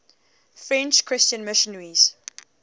french christian missionaries